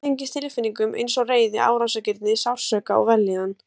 Hún tengist tilfinningum eins og reiði, árásargirni, sársauka og vellíðan.